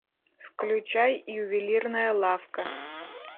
включай ювелирная лавка